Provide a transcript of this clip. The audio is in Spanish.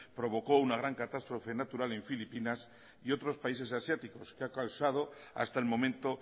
provocó una gran catástrofe natural en filipinas y otros países asiáticos que ha causado hasta el momento